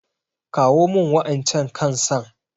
Kawo min waƴancan kan san.